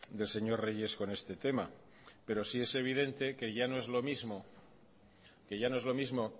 del señor reyes con este tema pero sí es evidente que ya no es lo mismo